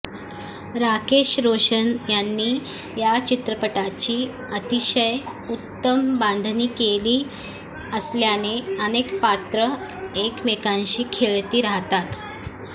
राकेश रोशन यांनी या चित्रपटाची अतिशय उत्तम बांधणी केली असल्याने अनेक पात्र एकमेकांशी खेळती राहतात